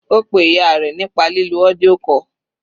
Ó pe ìyá rẹ̀ nípa lílo audio call.